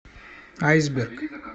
айсберг